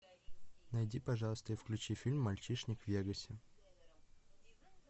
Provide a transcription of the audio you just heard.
найди пожалуйста и включи фильм мальчишник в вегасе